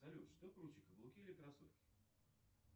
салют что круче каблуки или кроссовки